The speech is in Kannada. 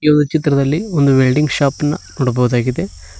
ಚಿತ್ರದಲ್ಲಿ ಒಂದು ವೆಲ್ಡಿಂಗ್ ಶಾಪ್ ನ ನೋಡಬಹುದಾಗಿದೆ.